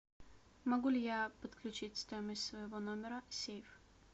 могу ли я подключить в стоимость своего номера сейф